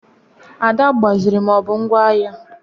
Ada agbaziri ma ọ bụ ngwa agha.